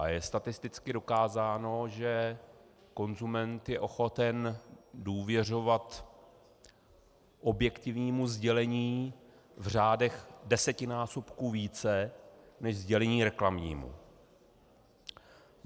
A je statisticky dokázáno, že konzument je ochoten důvěřovat objektivnímu sdělení v řádech desetinásobků více než sdělení reklamnímu.